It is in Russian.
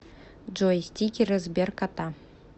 джой стикеры сберкота